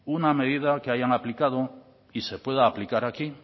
una medida que haya aplicado y se pueda aplicar aquí